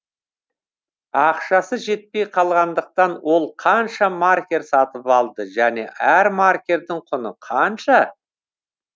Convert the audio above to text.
ақшасы жетпей қалғандықтан ол қанша маркер сатып алды және әр маркердің құны қанша